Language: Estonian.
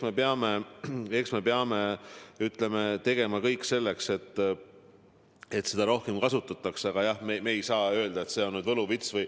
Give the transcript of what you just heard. Ma arvan, et me peame tegema kõik selleks, et seda rohkem kasutataks, aga me ei saa öelda, et see on võluvits.